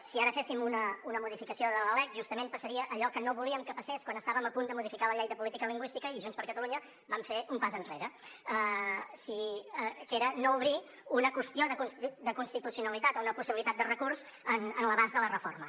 si ara féssim una modificació de la lec justament passaria allò que no volíem que passés quan estàvem a punt de modificar la llei de política lingüística i junts per catalunya vam fer un pas enrere que era no obrir una qüestió de constitucionalitat o una possibilitat de recurs en l’abast de la reforma